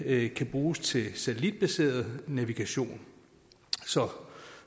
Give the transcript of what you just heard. ikke kan bruges til satellitbaseret navigation så